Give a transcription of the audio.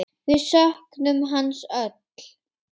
Við söknum hans öll.